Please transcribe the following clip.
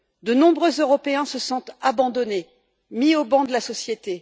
De nombreux Européens se sentent abandonnés, mis au ban de la société.